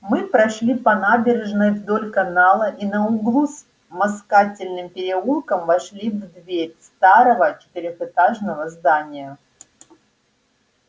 мы прошли по набережной вдоль канала и на углу с москательным переулком вошли в дверь старого четырёхэтажного здания